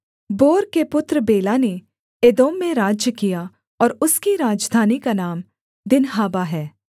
bore के पुत्र Bela ने एदोम में राज्य किया और उसकी राजधानी का नाम दिन्हाबा है